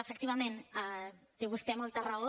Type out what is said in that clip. efectivament té vostè molta raó